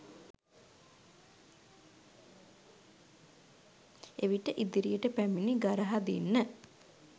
එවිට ඉදිරියට පැමිණි ගරහදින්න